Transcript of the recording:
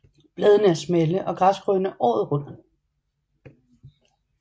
Bladene er smalle og græsgrønne året rundt